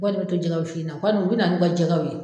Bɔ de bɛ to jɛgɛ wusu in na o kɔni u bɛ na n'u ka jɛgɛw ye.